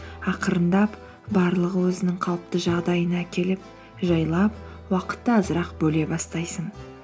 ақырындап барлығы өзінің қалыпты жағдайына келіп жайлап уақытты азырақ бөле бастайсың